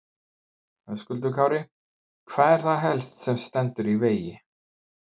Höskuldur Kári: Hvað er það helst sem að stendur í vegi?